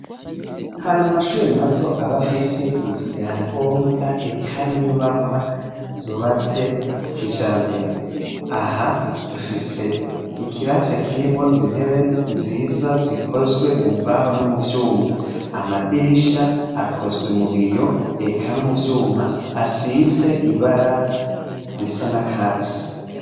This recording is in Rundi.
Hari amashure mato aba afise ivyangombwa, eka n'inyubakwa zubatse kijambere; aha dufise ikirase kirimwo intebe nziza zikozwe mu mbaho no mu vyuma; amadirisha akozwe mu biyo, eka no mu vyuma, asize ibara risa n'akatsi.